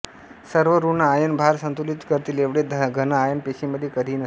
सर्व ऋण आयन भार संतुलित करतील एवढे घन आयन पेशीमध्ये कधीही नसतात